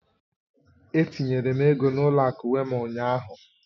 Etinyere m ego n'ụlọ akụ Wéma ụnyahụ.